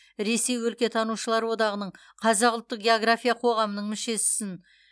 ресей өлкетанушылар одағының қазақ ұлттық география қоғамының мүшесісің